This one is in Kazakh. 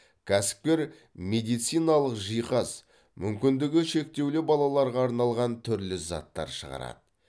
кәсіпкер медициналық жиһаз мүмкіндігі шектеулі балаларға арналған түрлі заттар шығарады